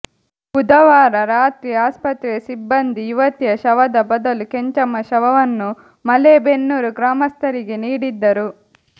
ಬುಧವಾರ ರಾತ್ರಿ ಆಸ್ಪತ್ರೆಯ ಸಿಬ್ಬಂದಿ ಯುವತಿಯ ಶವದ ಬದಲು ಕೆಂಚಮ್ಮ ಶವವನ್ನು ಮಲೇಬೆನ್ನೂರು ಗ್ರಾಮಸ್ಥರಿಗೆ ನೀಡಿದ್ದರು